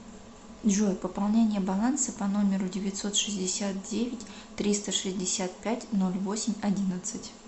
джой пополнение баланса по номеру девятьсот шестьдесят девять триста шестьдесят пять ноль восемь одиннадцать